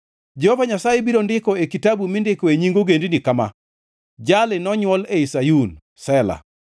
Jehova Nyasaye biro ndiko e kitabu mindikoe nying ogendini kama: “Jali nonywol ei Sayun.” Sela